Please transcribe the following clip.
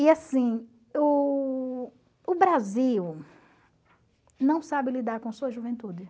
E assim, o o Brasil não sabe lidar com sua juventude.